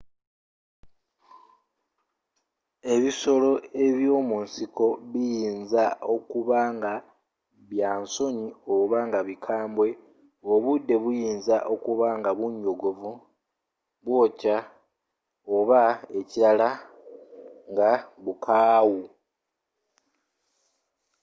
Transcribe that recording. ebisolo by'omunsiko biyinza okuba nga bya nsonyi oba nga bikambwe obudde buyinza okuba nga bunyogovu bwookya oba ekirala nga bukaawu